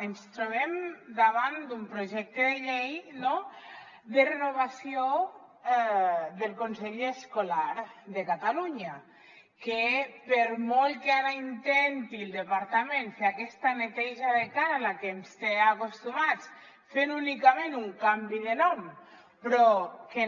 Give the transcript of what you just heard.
ens trobem davant d’un projecte de llei no de renovació del consell escolar de catalunya que per molt que ara intenti el departament fer aquesta neteja de cara a la que ens té acostumats fent únicament un canvi de nom però que